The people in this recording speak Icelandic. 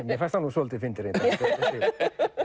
mér fannst hann nú svolítið fyndinn reyndar þessi